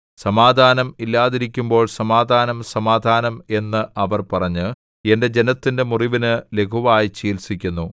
സമാധാനം ഇല്ലാതിരിക്കുമ്പോൾ സമാധാനം സമാധാനം എന്ന് അവർ പറഞ്ഞ് എന്റെ ജനത്തിന്റെ മുറിവിനു ലഘുവായി ചികിത്സിക്കുന്നു